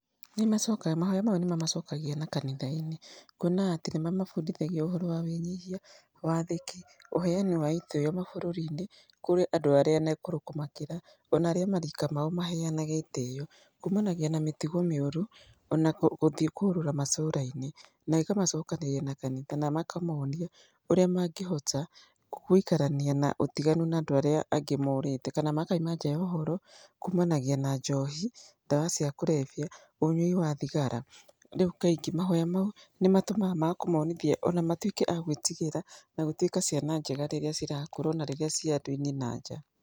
Nĩmacokaga, mahoya mau nĩmamacokagia na kanitha-inĩ, kuona atĩ nĩmamabundithagia ũhoro wa wĩnyihia, wathĩki, ũheani wa itĩo mabũrũri-inĩ kũrĩ andũ arĩa akũrũ kũmakĩra, ona arĩa a marika mao maheanage itĩo, kumanagia na mĩtugo mĩũru, ona gũthiĩ kũrũra matũra-inĩ. Na ĩkamacokanĩrĩria na kanitha na ĩkamonia ũrĩa mangĩhota gũikarania na ũtiganu na andũ arĩa angĩ morĩte, kana makauma nja ya ũhoro kumanagia na njohi, ndawa cia kũrebia, ũnyũi wa thigara. Rĩu kaingĩ mahoya mau nĩmatũmaga ma kũmonithia ona matuĩke a gwĩtigĩra na gũtuĩka ciana njega rĩrĩa cirakũra ona rĩrĩa ci andũ-inĩ na nja.